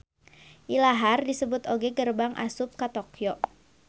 Ilahar disebut oge gerbang asup ka Tokyo